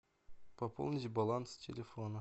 пополнить баланс телефона